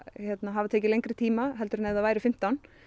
hafa tekið lengri tíma heldur en ef það væru fimmtán